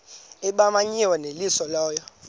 ebimenyiwe yeyeliso lo